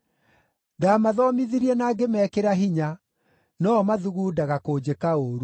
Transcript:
Ndaamathomithirie na ngĩmekĩra hinya, no-o mathugundaga kũnjĩka ũũru.